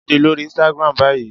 Jade lori Instagram bayi!